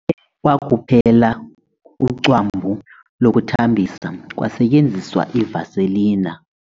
Kuthe kwakuphela ucwambu lokuthambisa kwasetyenziswa ivaselina.